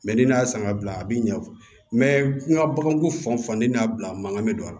ni y'a san ka bila a bi ɲɛ n ka baganko fan ni n'a bila mankan bɛ don a la